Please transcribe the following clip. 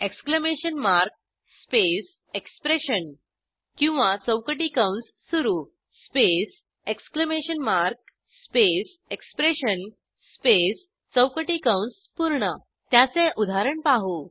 exclamation mark space expression किंवा चौकटी कंस सुरू space exclamation mark space expression space चौकटी कंस पूर्ण त्याचे उदाहरण पाहू